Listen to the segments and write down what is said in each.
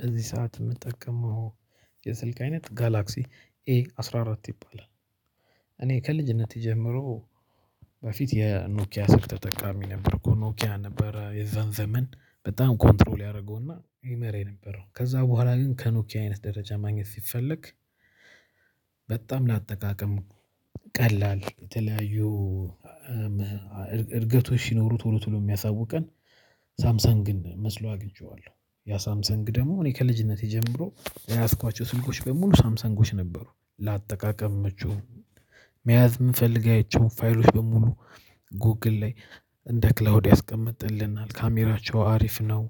በዚህ ሰዓት የምትጠቀመው የስልክ አይነት ጋላክሲ ኤ አስራ አራት ይባላል። እኔ ከልጅነቴ ጀምሮ በፊት የኖኪያ ስልክ ተጠቃሚ ነበርኩ። ኖኪያ ነበረ የዛን ዘመን በጣም ኮንትሮል ያደረገውና ይመራ የነበረው ከዛ በኋላ ግን ከኖኪያ አይነት ደረጃ ማግኘት ሲፈለግ። በጣም ለአጠቃቀም ቀላል የተለያዩ እድገቶች ሲኖሩት ቶሎ ስለሚያሳውቀን ሳምሰንግን መስሎ አግኝቼዋለሁ። ያ ሳምሰንግ ደግሞ እኔ ከልጅነቴ ጀምሮ የያዝኳቸው ስልኮች በሙሉ ሳምሰንጎች ነበሩ። ለአጠቃቀም መቼው መያዝ የምንፈልግ አይቼው ፋይሎች በሙሉ ጎግል ላይ እንደ ክላውድ ያስቀመጠልናል። ካሜራቸው አሪፍ ነው።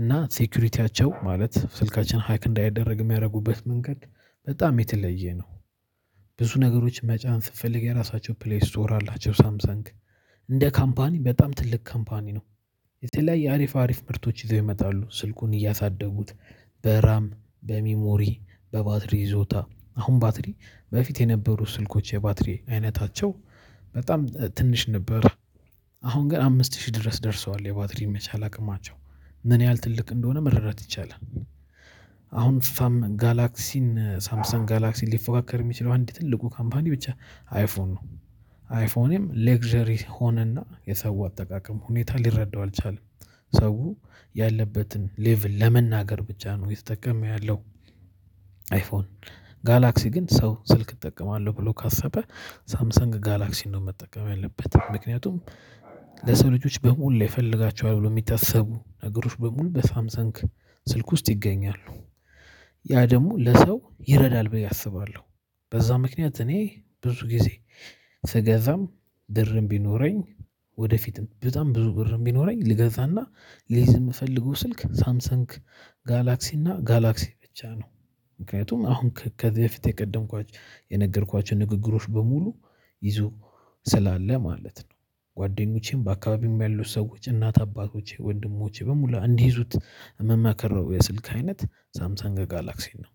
እና ሴኩሪቲያቸው ማለት ስልካችን ሃይክ እንዳይደረግ የሚያደርጉበት መንገድ በጣም የተለየ ነው። ብዙ ነገሮች መጫን ስትፈልግ የራሳቸው ፕሌስ ትወራላቸው ሳምሰንግ እንደ ካምፓኒ በጣም ትልቅ ካምፓኒ ነው። የተለያየ አሪፍ አሪፍ ምርቶች ይዘው ይመጣሉ ስልኩን እያሳደጉት በራም በሚሞሪ በባትሪ ይዞታ አሁን ባትሪ በፊት የነበሩ ስልኮች የባትሪ አይነታቸው በጣም ትንሽ ነበር። አሁን ገና አምስት ሺህ ድረስ ደርሰዋል የባትሪ መቻል አቅማቸው ምን ያህል ትልቅ እንደሆነ መረዳት ይቻላል። አሁን ሳምሰንግ ጋላክሲ ሊፎካከር የሚችለው አንድ ትልቁ ካምፓኒ ብቻ አይፎን ነው። አይፎንም ሌክዠሪ ሆነና የሰው አጠቃቀም ሁኔታ ሊረዳው አልቻለም። ሰው ያለበትን ሌቭል ለመናገር ብቻ ነው የተጠቀመው ያለው። አይፎን ጋላክሲ ግን ሰው ስልክ እጠቀማለሁ ብሎ ካሰበ ሳምሰንግ ጋላክሲን ነው መጠቀም ያለበት ምክንያቱም ለሰው ልጆች በሙሉ ይፈልጋቸዋል ብሎ የሚታሰቡ ነገሮች በሙሉ በሳምሰንግ ስልክ ውስጥ ይገኛሉ። ያ ደግሞ ለሰው ይረዳል ብዬ አስባለሁ። በዛ ምክንያት እኔ ብዙ ጊዜ ስገዛም ብር ቢኖረኝ ወደፊትም በጣም ብዙ ብርም ቢኖረኝ ልገዛና ልይዝ የምፈልገው ስልክ ሳምሰንክ ጋላክሲና እና ጋላክሲ ብቻ ነው። ምክንያቱም አሁን ከዚህ በፊት የቀደምኳች የነገርኳችሁ ንግግሮች በሙሉ ይዞ ስላለ ማለት ነው። ጓደኞቼም በአካባቢም ያሉት ሰዎች እናት አባቶቼ ወንድሞቼ በሙሉ እንዲይዙት የምመክረው ነው የስልክ አይነት ሳምሳንግ ገጋላክሲን ነው።